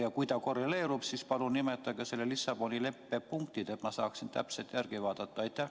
Ja kui ta korreleerub, siis palun nimetage selle Lissaboni leppe punktid, et ma saaksin täpselt järele vaadata!